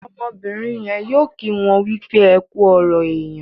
Ọmọbìrìn yén yóò kí wón wípé ẹkú ọrọ èyán.